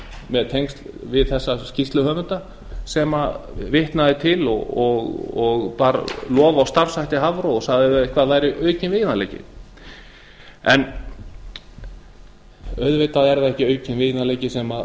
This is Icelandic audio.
með tengsl við þessa skýrsluhöfunda sem vitnað er til og bar hann lof á starfshætti hafró og sagði að þetta væri aukinn veiðanleiki auðvitað er það ekki aukinn veiðanleiki sem